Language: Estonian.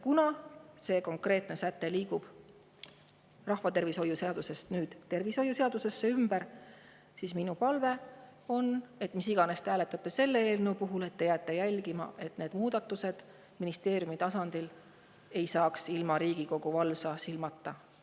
Kuna see konkreetne säte liigub nüüd rahvatervishoiu seadusest tervishoiu seadusesse, siis minu palve on: kuidas iganes te hääletate selle eelnõu puhul, jälgige, et need muudatused ei saaks ministeeriumi tasandil tehtud ilma Riigikogu valvsa silmata.